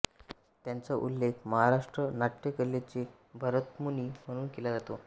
त्यांचा उल्लेख महाराष्ट्र नाट्य कलेचे भरतमुनी म्हणून केला जातो